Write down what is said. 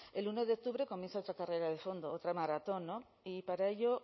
el uno de octubre comienza otra carrera de fondo otra maratón y para ello